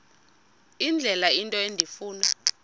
indlela into endifuna